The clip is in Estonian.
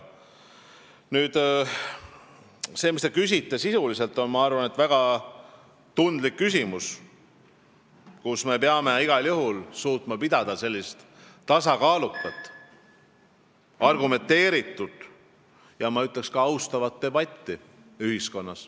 Nüüd see, mille kohta te küsisite, on sisuliselt väga tundlik küsimus, kus me peame igal juhul suutma ühiskonnas pidada tasakaalukat, argumenteeritud ja ka austavat debatti.